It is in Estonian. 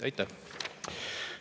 Aitäh!